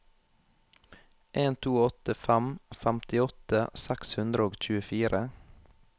en to åtte fem femtiåtte seks hundre og tjuefire